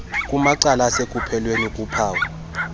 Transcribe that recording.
kumacala asekupheleni kuphawu